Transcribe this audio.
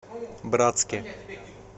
братске